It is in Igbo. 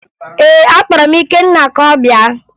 Ee, akpọrọ m Ikenna ka ọ bịa